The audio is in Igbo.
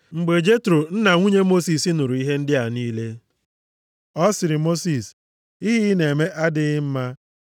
Mgbe Jetro, nna nwunye Mosis, nụrụ ihe ndị a niile, ọ sịrị Mosis, “Ihe ị na-eme adịghị mma.